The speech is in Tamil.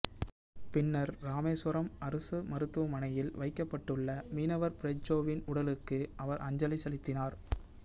பின்னர் ராமேஸ்வரம் அரசு மருத்துவமனையில் வைக்கப்பட்டுள்ள மீனவர் பிரிட்ஜோவின் உடலுக்கு அவர் அஞ்சலி செலுத்தினார்